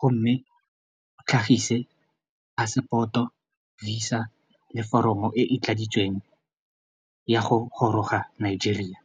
gomme o tlhagise passport-o, Visa le foromo e e tladitsweng ya go goroga Nigeria.